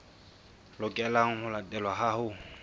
lokelang ho latelwa ha ho